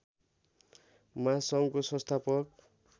महासङ्घको संस्थापक